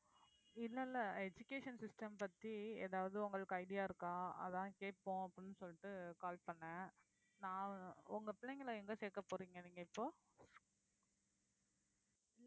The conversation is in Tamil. இல்லை இல்லை education system பத்தி ஏதாவது உங்களுக்கு idea இருக்கா அதான் கேட்போம் அப்படின்னு சொல்லிட்டு call பண்ணேன் நான் உங்க பிள்ளைங்களை எங்க சேர்க்கப் போறீங்க நீங்க இப்போ